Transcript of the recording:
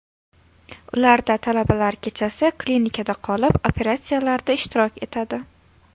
Ularda talabalar kechasi klinikada qolib, operatsiyalarda ishtirok etadi.